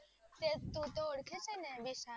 તું તો. ઓળખે છે ને?